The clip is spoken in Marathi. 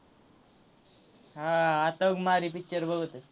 हां आत्ता मारी picture बघतोय.